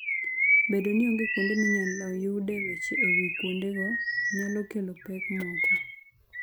Bedo ni onge kuonde minyalo yude weche e wi kuondego, nyalo kelo pek moko.